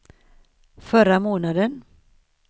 förra månaden